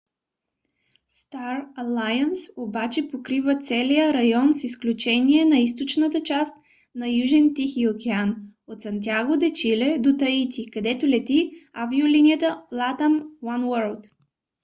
star alliance обаче покрива целия район с изключение на източната част на южен тихи океан - от сантяго де чиле до таити където лети авиолинията latam oneworld